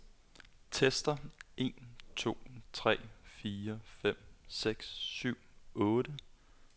Tester en to tre fire fem seks syv otte.